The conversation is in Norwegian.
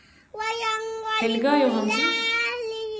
Helga Johansen